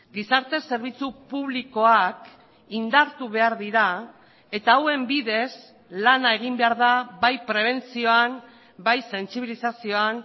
gizarte zerbitzu publikoak indartu behar dira eta hauen bidez lana egin behar da bai prebentzioan bai sentzibilizazioan